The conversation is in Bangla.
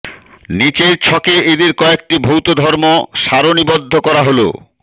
নিচের ছকে এদের কযেকটি ভৌত ধর্ম সারণীবদ্ধ করা হলোঃ